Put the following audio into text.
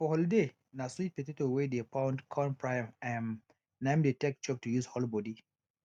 for holiday na sweet potato wey dey pound con fry am um na im dey take chop to use hold body